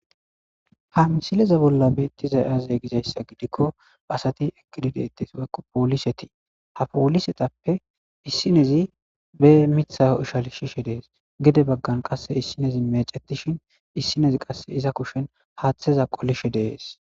hamsileze bolla beettiza yaze gizayssa gidikko aasati ekididete woykko pooliseti ha poolisetappe issinezi be mitha ishal shishe dees gede baggan qasse issinezi meecetishin issinezi qasse iza kushen haaththeza qolishe dees